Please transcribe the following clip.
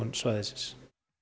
svæðisins